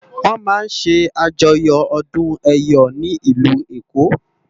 Wòn má n sè ájòyò òdún èyò ni ilú Ékó